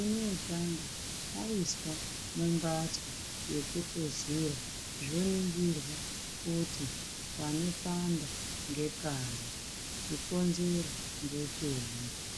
unootanga aiswa mumbatso yekuhluzira zvoningirwa kuti panopanda ngepari, chikonzero ngechei.